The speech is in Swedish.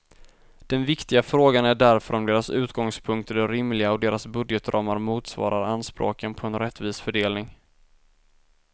Den viktiga frågan är därför om deras utgångspunkter är rimliga och deras budgetramar motsvarar anspråken på en rättvis fördelning.